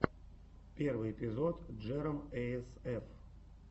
первый эпизод джером эй эс эф